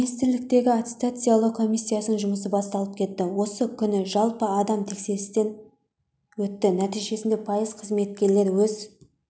министрліктердегі аттестациялау комиссиясының жұмысы басталып кетті осы күні жалпы адам тексерістен өтті нәтижесінде пайыз қызметкерлер өз